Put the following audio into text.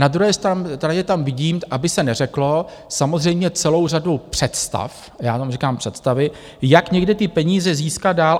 Na druhé straně tam vidím, aby se neřeklo, samozřejmě celou řadu představ - já tomu říkám představy - jak někde ty peníze získat dál.